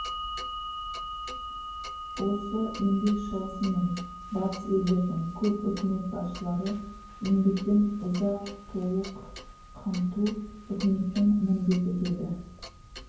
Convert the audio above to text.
осы еңбек шығысы мен батыс елдердің көп үкімет басшылары еңбекпен ұзақ толық қамту үкіметтің міндеті деді